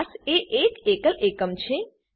class એ એક એકલ એકમ છે